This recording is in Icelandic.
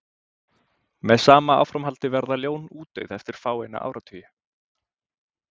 með sama áframhaldi verða ljón útdauð eftir fáeina áratugi